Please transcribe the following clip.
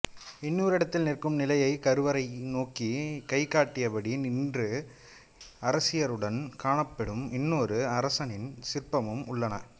இன்னோரிடத்தில் நிற்கும் நிலையில் கருவறையை நோக்கிக் கைகாட்டியபடி இரண்டு அரசியருடன் காணப்படும் இன்னொரு அரசனின் சிற்பமும் உள்ளன